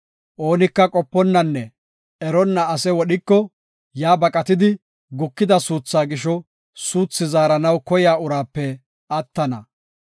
Oonika qoponnanne eronna ase wodhiko, yaa baqatidi gukida suuthaa gisho suuthi zaaranaw koya uraape attana.